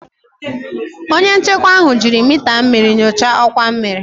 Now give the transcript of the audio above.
Onye nchekwa ahụ jiri mita mmiri nyochaa ọkwa mmiri